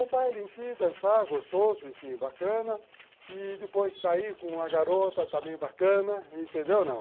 O baile em si, dançar, gostoso, enfim, bacana, e depois sair com uma garota também bacana, entendeu, não?